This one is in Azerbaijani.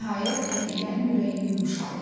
Nəhayət, xəfiyyənin ürəyi yumşaldı.